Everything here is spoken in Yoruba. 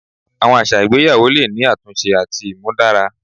Awọn aṣa igbeyawo le ni atunṣe ati imudara